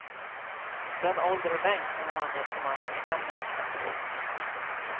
Den ålder och längd som de angett på mannen stämmer exempelvis.